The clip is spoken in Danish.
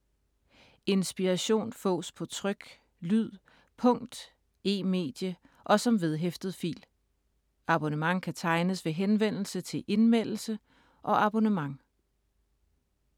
Inspiration fås på tryk, lyd, punkt, e-medie og som vedhæftet fil. Abonnement kan tegnes ved henvendelse til Indmeldelse og abonnement.